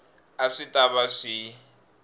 a swi ta va swi